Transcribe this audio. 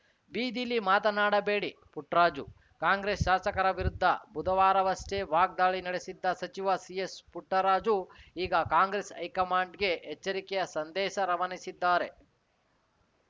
ಬೀದಿಲಿ ಮಾತನಾಡಬೇಡಿಪುಟ್ಟರಾಜು ಕಾಂಗ್ರೆಸ್‌ ಶಾಸಕರ ವಿರುದ್ಧ ಬುಧವಾರವಷ್ಟೇ ವಾಗ್ದಾಳಿ ನಡೆಸಿದ್ದ ಸಚಿವ ಸಿಎಸ್‌ಪುಟ್ಟರಾಜು ಈಗ ಕಾಂಗ್ರೆಸ್‌ ಹೈಕಮಾಂಡ್‌ಗೆ ಎಚ್ಚರಿಕೆಯ ಸಂದೇಶ ರವಾನಿಸಿದ್ದಾರೆ